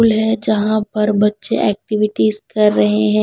School है जहाँ पर बच्चे एक्टिविटीज कर रहे हैं।